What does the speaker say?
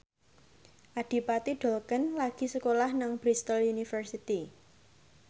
Adipati Dolken lagi sekolah nang Bristol university